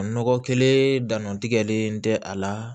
Nɔgɔ kelen dann tigɛlen tɛ a la